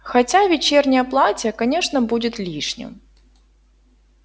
хотя вечернее платье конечно будет лишним